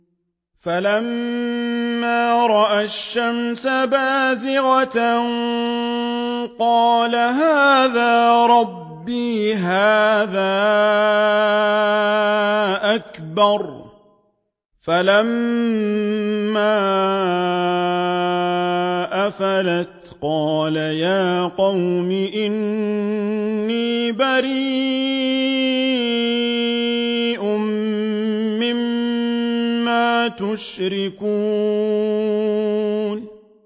فَلَمَّا رَأَى الشَّمْسَ بَازِغَةً قَالَ هَٰذَا رَبِّي هَٰذَا أَكْبَرُ ۖ فَلَمَّا أَفَلَتْ قَالَ يَا قَوْمِ إِنِّي بَرِيءٌ مِّمَّا تُشْرِكُونَ